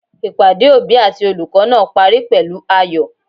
Ìpàdé òbí àti olùkó náà parí pèlú ayò